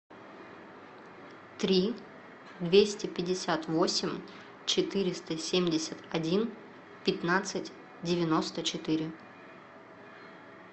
три двести пятьдесят восемь четыреста семьдесят один пятнадцать девяносто четыре